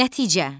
Nəticə.